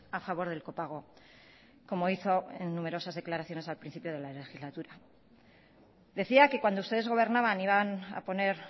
a favor del copago como hizo en numerosas declaraciones al principio de la legislatura decía que cuando ustedes gobernaban iban a poner